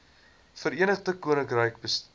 verenigde koninkryk bestuur